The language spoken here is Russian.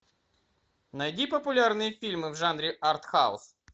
найди популярные фильмы в жанре артхаус